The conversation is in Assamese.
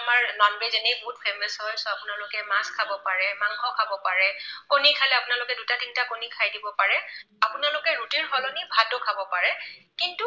আমাৰ non veg এনেও বহুত famous হয়। আপোনালোকে মাছ খাব পাৰে, মাংস খাব পাৰে, কণী খালে আপোনালোকে দুটা তিনিটা কণী খাই দিব পাৰে। আপোনালোকে ৰুটিৰ সলনি ভাতো খাব পাৰে। কিন্তু